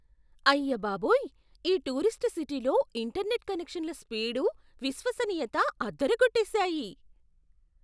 అయ్యబాబోయ్! ఈ టూరిస్టు సిటీలో ఇంటర్నెట్ కనెక్షన్ల స్పీడు, విశ్వసనీయత అదరకొట్టేశాయి.